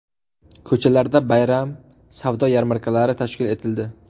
Ko‘chalarda bayram savdo yarmarkalari tashkil etildi.